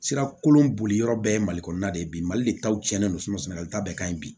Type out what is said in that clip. Sira kolon boli yɔrɔ bɛɛ ye mali kɔnɔna de ye bi mali le taw cɛnnen don sɛnɛli ta bɛɛ ka ɲi bi